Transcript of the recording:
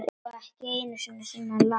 Ekki einu sinni Lat.